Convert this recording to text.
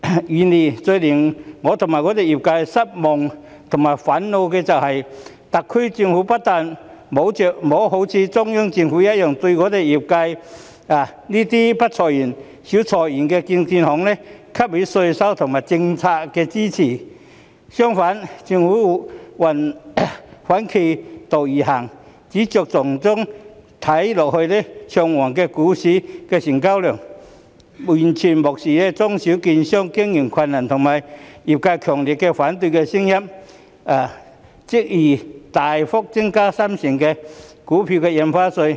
然而，最令我與我的業界失望和憤怒的是，特區政府不但沒有如中央政府一樣，對我們業界這些不裁員、少裁員的證券行給予稅務和政策支持，相反，政府反其道而行，只着重於看似昌旺的股市成交量，完全無視中小券商經營困難和業界強烈反對的聲音，執意大幅增加三成股票印花稅。